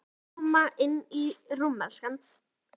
Eigum við að koma inn í rúm, elskan?